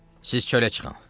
Siz çölə çıxın.